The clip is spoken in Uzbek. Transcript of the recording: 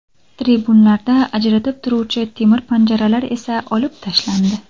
Tribunalarni ajratib turuvchi temir panjaralar esa olib tashlandi.